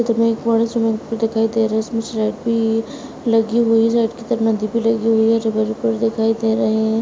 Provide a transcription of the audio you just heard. Swimming pool दिखाई दे रहा है। लगी हुई है। दिखाई दे रहे हैं।